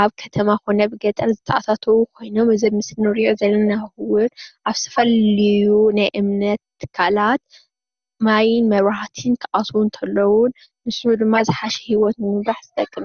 ኣብ ከተማ ኮነ ኣብ ገጠር ዝተኣታተው ኮይኖም እዚ ኣብ ምስሊ እንሪኦ ዘለና እውን አብ ዝተፈላለዩ ናይ እምነት ትካላት ማይን መብራህትን ክኣትዉ እንተለዉ ንሱ ድማ ዝሓሸ ሂወት ንምምራሕ ዝጠቅመ እዩ፡፡